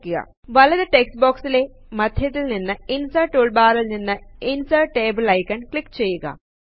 വലതു ടെക്സ്റ്റ് ബോക്സിലെ മദ്ധ്യത്തിലെ ഇൻസെർറ്റ് ടൂൾ ബാറിൽ നിന്ന് ഇൻസെർറ്റ് ടേബിൾ ഐക്കൺ ക്ലിക്ക് ചെയ്യുക